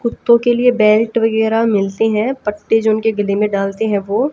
कुत्तों के लिए बेल्ट वगैरा मिलते हैं। पट्टे जो उनके गले में डालते हैं वो।